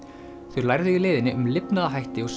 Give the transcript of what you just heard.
þau lærðu í leiðinni um lifnaðarhætti og